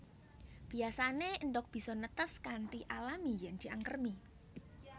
Biyasané endhog bisa netes kanthi alami yèn diangkremi